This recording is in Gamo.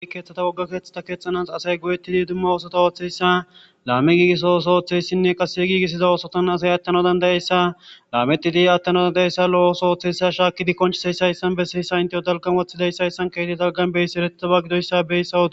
Keththata wogga keeththatha keexxanas asay guyeththidi dumma oosotha ooththeyssa laame giigiso ooso ooththeyssinne qase giigissiza oosothan asay aththana dandayeyssa laamethidi aththana dandayeyssa lo7oso ooththessa shaakkidi qonchiseyssa hayssan bessiyssa intheyo dalggan woththidayssayssan keedi dalggan beyssi erethaba gidoyssa beyssa odo...